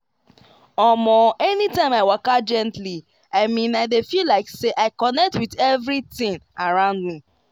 omo anytime i waka gently i mean i dey feel like say i connect with everything around me.